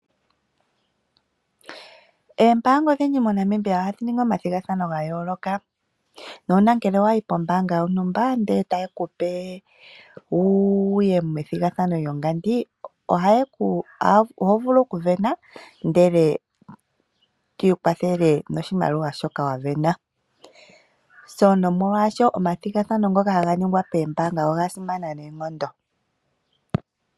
Oombaanga odhindji moNamibia ohadhi ningi omathigathano ga yooloka. Nuuna wa yi pombaanga yontumba ndele taye ku pe wu ye methigathano lyongandi, oho vulu okusindana ndele to ikwathele noshimaliwa shoka wa sindana. Omathigathano ngoka haga ningwa moombaanga oga simana noonkondo.